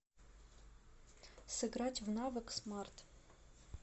сыграть в навык смарт